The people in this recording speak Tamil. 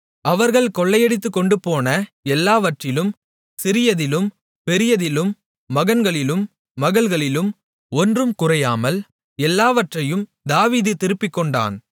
அவர்கள் கொள்ளையடித்துக்கொண்டுபோன எல்லாவற்றிலும் சிறியதிலும் பெரியதிலும் மகன்களிலும் மகள்களிலும் ஒன்றும் குறையாமல் எல்லாவற்றையும் தாவீது திருப்பிக்கொண்டான்